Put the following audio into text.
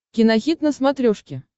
кинохит на смотрешке